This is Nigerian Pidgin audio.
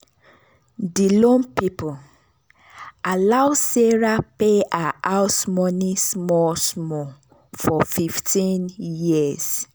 di loan people allow sarah pay her house money small small for 15 years.